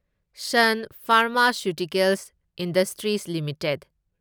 sun pharmaceuticals industries limited